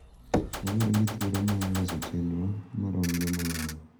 Wabedo gi thuolo mar loso chenro maromre moloyo